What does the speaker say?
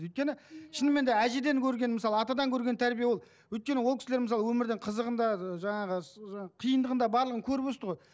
өйткені шынымен де әжеден көрген мысалы атадан көрген тәрбие ол өйткені ол кісілер мысалы өмірдің қызығын да ы жаңағы киындығын да барлығын көріп өсті ғой